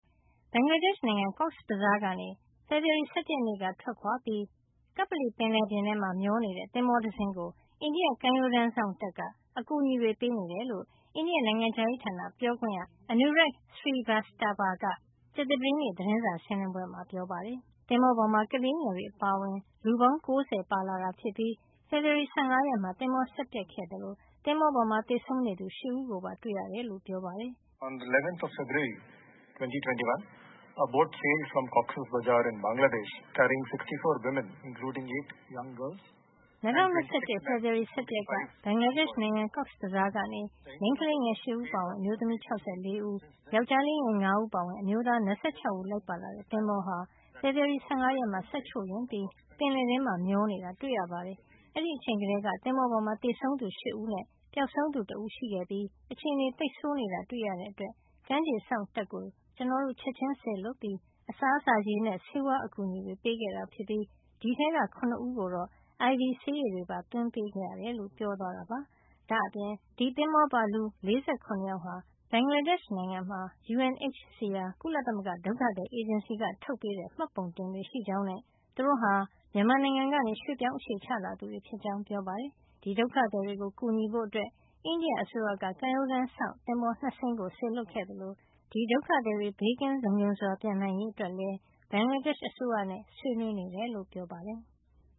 ဘင်္ဂလားဒေ့ရှ်နိုင်ငံ ကော့စ် ဘဇား ကနေ ဖေဖေါ်ဝါရီလ ၁၁ ရက်နေ့ ထွက်ခွါပြီး ကပ္ပလီပင်လယ်ပြင် (Andaman Sea) ထဲမှာ မျောနေတဲ့ သဘောၤတစင်းကို အိန္ဒိယကမ်းရိုးတန်းစောင့်တပ်က အကူအညီတွေ ပေးနေတယ်လို့ အိန္ဒိယ နိုင်ငံခြားရေးဌာန ပြောခွင့်ရ Anurag Srivastava က ကြာသပတေးနေ့ သတင်းစာရှင်းလင်းပွဲမှာ ပြောပါတယ်။ သဘောၤပေါ်မှာ ကလေးငယ်တွေ အပါအဝင် လူပေါင်း ၉၀ ပါလာတာဖြစ်ပြီး ဖေဖေါ်ဝါရီ ၁၅ ရက်နေ့မှာ သဘောၤစက်ပျက်ခဲ့တာ ဖြစ်သလို သင်္ဘောပေါ်မှာ သေဆုံးနေသူ ၈ ဦးကိုပါ တွေ့ခဲ့ရတယ်လို့ ပြောပါတယ်။ " ၂၀၂၁ ဖေဖေါ်ဝါရီ ၁၁ ရက်က ဘင်္ဂလားဒေ့ရှ် နိုင်ငံ ကောစ်ဘဇားကနေ မိန်းကလေးငယ် ၈ ဦးအပါအဝင် အမျိုးသမီး ၆၄ ဦး၊ ယောင်္ကျားလေးငယ် ၅ ဦး အပါအဝင် အမျိုးသား ၂၆ ဦး လိုက်ပါတဲ့ သင်္ဘောဟာ ဖေဖေါ်ဝါရီလ ၁၅ ရက်မှာ စက်ချို့ယွင်းပြီး ပင်လယ်ထဲမှာ မျောနေတာတွေ့ရပါတယ်။ အဲဒီအချိန်ကတည်းက သင်္ဘောပေါ်မှာ သေဆုံးသူ ၈ ဦးနဲ့ ပျောက်ဆုံးသူ ၁ ဦး ရှိခဲ့ပြီး အခြေနေ သိပ်ဆိုးနေတာ တွေ့ရတဲ့ အတွက် ကမ်းခြေစောင့်တပ်ကို ကျနော်တို့ ချက်ချင်း စေလွှတ်ပြီး အစားအစာ၊ ရေနဲ့ ဆေးဝါး အကူညီတွေ ပေးခဲ့တာ ဖြစ်ပြီး အဲဒီထဲက ၇ ဦးကိုတော့ IV ဆေးရည်ပါ သွင်းပေးခဲ့ရတယ်" လို့ ပြောသွားတာပါ။ ဒါ့အပြင် ဒီသင်္ဘော ပေါ်ပါ လူ ၄၇ ယောက်ဟာ ဘင်္ဂလားဒေ့ရှ် နိုင်ငံမှာ UNHCR ကုလသမဂ္ဂ ဒုက္ခသည် အေဂျင်စီက ထုတ်ပေးထားတဲ့ မှတ်ပုံတင်ကပ်တွေ ရှိကြောင်းနဲ့ သူတို့ဟာ မြန်မာနိုင်ငံကနေလာတဲ့ ရွှေ့ပြောင်းအခြေချသူတွေ ဖြစ်ကြောင်းပြောပါတယ်။ ဒီဒုက္ခသည်တွေကို ကူညီဖို့ အိန္ဒိယအစိုးရက ကမ်းရိုးတန်းစောင့် သင်္ဘော ၂ စင်းကို စေလွှတ်ခဲ့သလို ဒီဒုက္ခသည်တွေ ဘေးကင်း လုံခြုံစွာ ပြန်နိုင်ရေးအတွက်လည်း ဘင်္ဂလားဒေ့ရှ် အစိုးရနဲ့ ဆွေးနွေးနေကြောင်း ပြောပါတယ်။